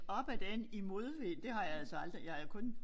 Op ad den i modvind det har jeg altså aldrig jeg har kun